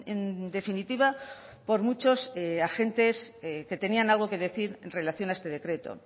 en definitiva por muchos agentes que tenían algo que decir en relación a este decreto